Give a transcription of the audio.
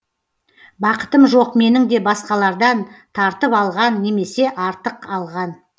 бақытым жоқ менің де басқалардан тартып алған немесе артық алған